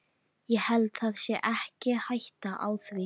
Ég held það sé ekki hætta á því.